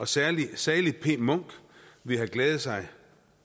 salig salig p munch ville have glæde sig